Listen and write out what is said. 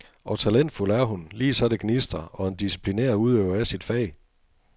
Og talentfuld er hun, lige så det gnistrer, og en disciplineret udøver af sit fag.